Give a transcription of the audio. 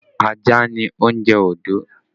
Ajá ni oúnjẹ Ondo